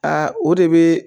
Aa o de bɛ